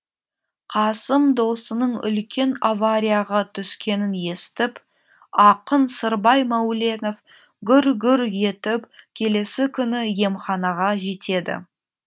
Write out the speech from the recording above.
қасым досының үлкен аварияға түскенін естіп ақын сырбай мәуленов гүр гүр етіп келесі күні емханаға жетеді